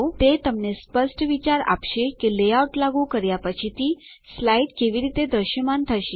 તે તમને સ્પષ્ટ વિચાર આપશે કે લેઆઉટ લાગુ કર્યા પછીથી સ્લાઇડ કેવી રીતે દ્રશ્યમાન થશે